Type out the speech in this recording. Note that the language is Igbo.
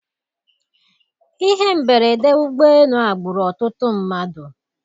Ihe mberede ụgbọelu a gburu ọtụtụ mmadụ.